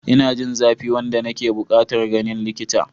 Ina jin zafi wanda nake buƙatar ganin likita.